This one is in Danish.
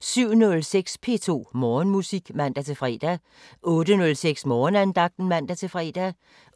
07:06: P2 Morgenmusik (man-fre) 08:06: Morgenandagten (man-fre)